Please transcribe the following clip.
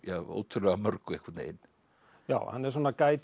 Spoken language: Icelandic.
ótrúlega mörgu einhvern veginn hann er